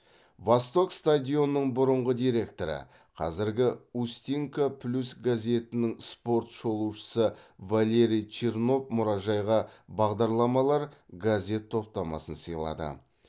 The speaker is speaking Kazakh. восток стадионының бұрынғы директоры қазіргі устинка плюс газетінің спорт шолушысы валерий чернов мұражайға бағдарламалар газет топтамасын сыйлады